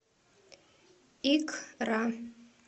икра